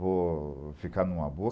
Vou ficar em uma boa.